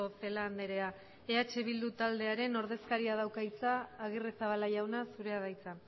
celaá andrea eh bildu taldearen ordezkariak dauka hitza agirrezabala jauna zurea da hitza